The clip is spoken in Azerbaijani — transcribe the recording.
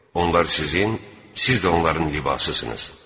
Onlar sizin, siz də onların libasısınız.